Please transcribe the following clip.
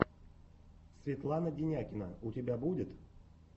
светлана денякина у тебя будет